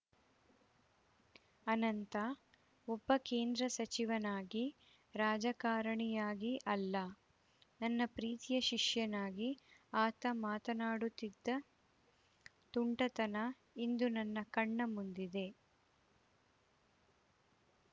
ಅನಂತ ಒಬ್ಬ ಕೇಂದ್ರ ಸಚಿವನಾಗಿ ರಾಜಕಾರಣಿಯಾಗಿ ಅಲ್ಲ ನನ್ನ ಪ್ರೀತಿಯ ಶಿಷ್ಯನಾಗಿ ಆತ ಮಾತನಾಡುತ್ತಿದ್ದ ತುಂಟತನ ಇಂದು ನನ್ನ ಕಣ್ಣ ಮುಂದಿದೆ